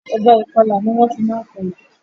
Ọ̀bẹ ìkọla ni wọ́n fi máa ń kọlà.